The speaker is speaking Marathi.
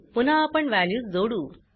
पुन्हा आपण वॅल्यूज जोडू